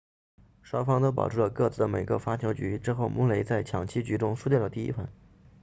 双方都保住了各自的每个发球局之后穆雷在抢七局中输掉了第一盘